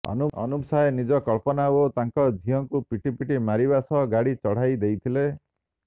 ଅନୁପ ସାଏ ନିଜେ କଳ୍ପନା ଓ ତାଙ୍କ ଝିଅକୁ ପିଟିପିଟି ମାରିବା ସହ ଗାଡ଼ି ଚଢ଼ାଇ ଦେଇଥିଲେ